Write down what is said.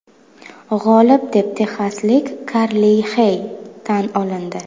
G‘olib deb texaslik Karli Xey tan olindi.